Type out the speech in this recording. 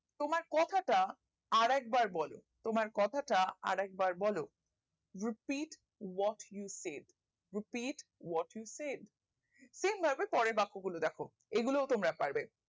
তোমার কথাটা আরেকবার বলো তোমার কথাটা আরেকবার বলো repeat what you said repeat what you said same ভাবে পরের বাক্যগুলো দেখো এগুলো তোমরা পারবে